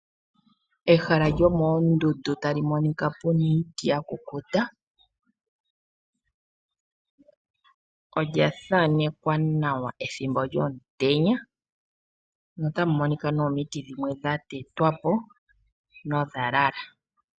Ehala lyomoondundu tali monika pu na iiti ya kukuta. Olya thanekwa nawa ethimbo lyomutenya notamu monika omiti dhimwe dha tetwa po nodha lala.